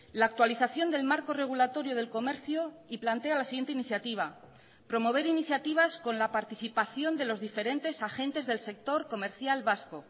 la actualización del marco regulatorio del comercio y plantea la siguiente iniciativa promover iniciativas con la participación de los diferentes agentes del sector comercial vasco